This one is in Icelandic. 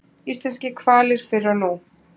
Íslenskir hvalir fyrr og nú.